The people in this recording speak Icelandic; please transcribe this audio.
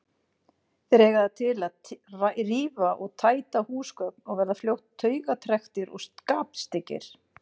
Þeir eiga það til að rífa og tæta húsgögn og verða fljótt taugatrekktir og skapstyggir.